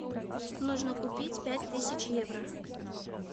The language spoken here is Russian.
нужно купить пять тысяч евро